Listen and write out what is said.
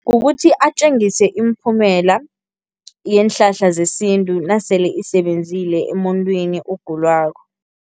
Kukuthi atjengise imiphumela yeenhlahla zesintu nasele isebenzile emuntwini ogulako.